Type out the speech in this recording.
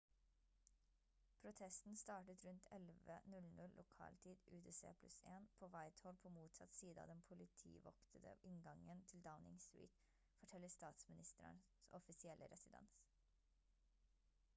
protesten startet rundt 11:00 lokal tid utc +1 på whitehall på motsatt side av den politivoktede inngangen til downing street forteller statsministerens offisielle residens